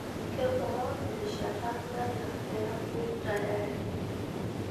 kebaa erishata naya peeiyuku tayari